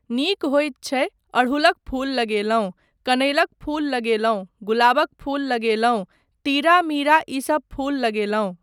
नीक होइत छै, अड़हुलक फूल लगेलहुँ, कनैलक फूल लगेलहुँ, गुलाबक फूल लगेलहुँ, तिउरा मीरा ईसब फूल लगेलहुँ।